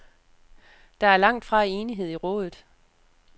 Der er langt fra enighed i rådet.